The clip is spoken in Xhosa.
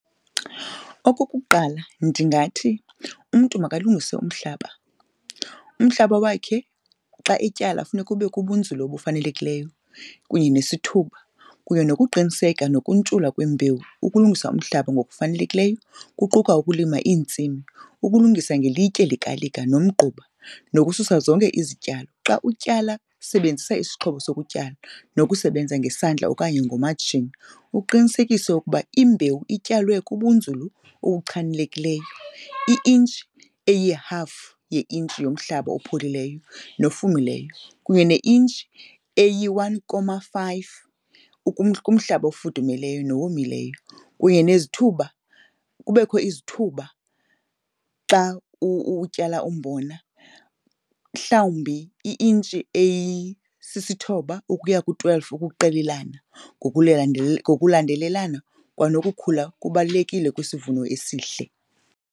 Okokuqala ndingathi umntu makalungise umhlaba, umhlaba wakhe xa etyala funeka ube kubunzulu obufanelekileyo kunye sesithuba kunye nokuqiniseka nokuntshula kwembewu. Ukulungisa umhlaba ngokufanelekileyo kuquka ukulima iintsimi, ukulungisa ngelitye likalika nomgquba nokususa zonke izityalo. Xa utyala sebenzisa isixhobo sokutya nokusebenza ngesandla okanye ngomatshini uqinisekise ukuba imbewu ityalwe kubunzulu obuchanekileyo, i-inch eyihafu ye-inch yomhlaba opholileyo nfumileyo kunye ne-inch eyi-one comma five kumhlaba ofudumeleyo nowomileyo. Kunye nezithuba, kubekho izithuba xa utyala umbona mhlawumbi i-inch eyisithobba ukuya ku-twelve ukuqelelana ngokulandelelana kwanokukhula kubalulekile kwisivuno esihle.